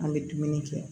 An bɛ dumuni kɛ